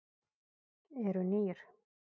Eru nýr?